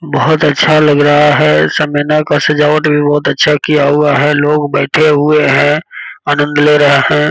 बहुत अच्छा लग रहा है सेमिनार का सजावट भी बहुत अच्छा किया हुआ है लोग बैठे हुए हैं आनंद ले रहे हैं।